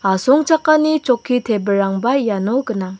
asongchakani chokki tebilrangba iano gnang.